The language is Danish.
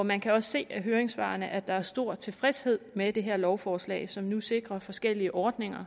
man kan også se af høringssvarene at der er stor tilfredshed med det her lovforslag som nu sikrer forskellige ordninger